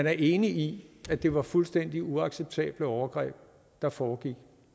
er enige i at det var fuldstændig uacceptable overgreb der foregik